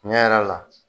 Tiɲɛ yɛrɛ la